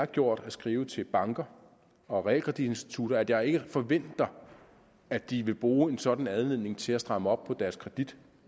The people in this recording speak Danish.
gjort at skrive til banker og realkreditinstitutter at jeg ikke forventer at de vil bruge en sådan anledning til at stramme op på deres kredit